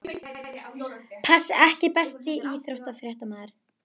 Pass EKKI besti íþróttafréttamaðurinn?